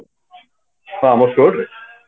କଣ ଆମ stuart ରେ